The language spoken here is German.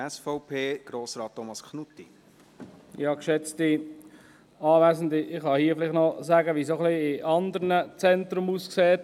Ich kann hier vielleicht noch sagen, wie es in anderen Zentren aussieht.